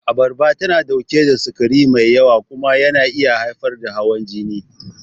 Abarba tana ɗauke da sukari mai yawa kuma yana iya haifar da hawan jini.